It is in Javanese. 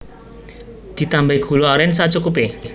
Ditambahi gula aren sacukupe